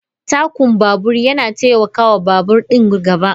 Takun babur na taimaka wa babur ɗin gaba.